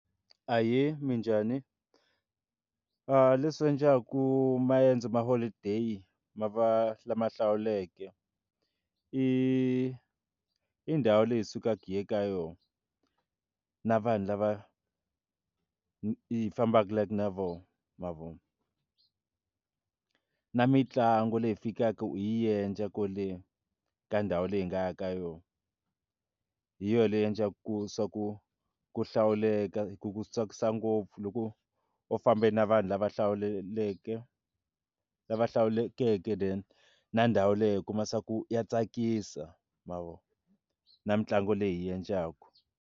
Ahee, minjhani? leswo endlaka maendzo ma holiday ma va lama hlawuleke i i ndhawu leyi hi sukaka hi ya eka yona na vanhu lava hi hi fambeku like na voho ma vo na mitlangu leyi fikaka hi yi endla kwale ka ndhawu leyi nga ya ka yona hi yona leyi endlaka ku swa ku ku hlawuleka ku tsakisa ngopfu loko u famba na vanhu lava hlawuleke lava hlawulekeke na ndhawu leyi hi kuma swa ku ya tsakisa ma vo na mitlangu leyi hi yi endlaku.